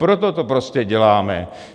Proto to prostě děláme.